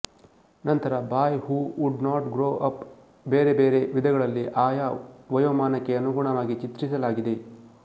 ನಂತರ boy who would not grow up ಬೇರೆ ಬೇರೆ ವಿಧಗಳಲ್ಲಿ ಆಯಾ ವಯೋಮಾನಕ್ಕೆ ಅನುಗುಣವಾಗಿ ಚಿತ್ರಿಸಲಾಗಿದೆ